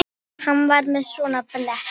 Hann kom til hennar.